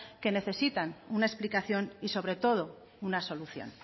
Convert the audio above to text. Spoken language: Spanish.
que necesitan una explicación y sobre todo una solución